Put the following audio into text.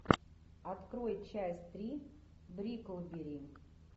открой часть три бриклберри